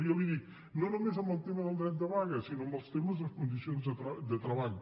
i jo li dic no només en el tema del dret de vaga sinó en els temes de les condicions de treball